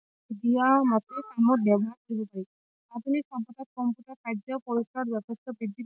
দিয়াৰ মতে কামত ব্যৱহাৰ কৰিব পাৰি আধুনিক সভ্যতাৰ কম্পিউটাৰ কাৰ্য্য পৰিচয় যথেষ্ট বৃদ্ধি